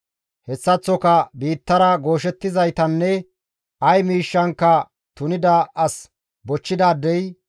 hessaththoka biittara gooshettizaytanne ay miishshankka tunida as bochchidaadey,